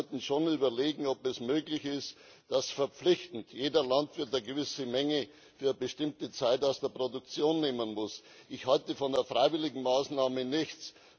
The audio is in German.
Wir sollten schon überlegen, ob es möglich ist, dass verpflichtend jeder Landwirt eine gewisse Menge für eine bestimmte Zeit aus der Produktion nehmen muss. Ich halte von einer freiwilligen Maßnahme nichts!